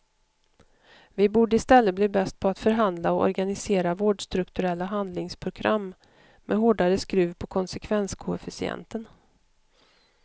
Vi borde istället bli bäst på att förhandla och organisera vårdstrukturella handlingsprogram med hårdare skruv på konsekvenskoefficienten.